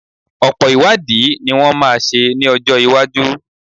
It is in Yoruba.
Ọ̀pọ̀ ìwádìí ní wọ́n máa ṣe ní ọjọ́ iwájú.